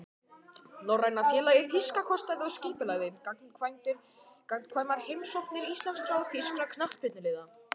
Norræna félagið þýska kostaði og skipulagði gagnkvæmar heimsóknir íslenskra og þýskra knattspyrnuliða.